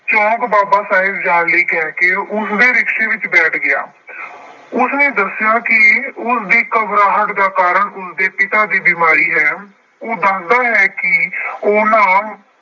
ਚੌਂਕ ਬਾਬਾ ਸਾਹਿਬ ਜਾਣ ਲਈ ਕਹਿ ਕੇ ਉਸਦੇ rickshaw ਵਿੱਚ ਬੈਠ ਗਿਆ। ਉਸਨੇ ਦੱਸਿਆ ਕਿ ਉਸਦੀ ਘਬਰਾਹਟ ਦਾ ਕਾਰਨ ਉਸਦੇ ਪਿਤਾ ਦੀ ਬੀਮਾਰੀ ਹੈ। ਉਹ ਦੱਸਦਾ ਹੈ ਕਿ ਉਹਨਾਂ